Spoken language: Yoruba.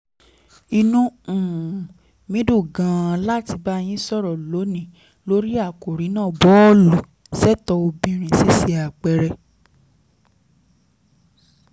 inú um mi dùn gan-an láti bá yín sọ̀rọ̀ lónìí lórí àkòrí náà bọ́ọ̀lù-ṣètò obìnrin: ṣíṣe àpẹẹrẹ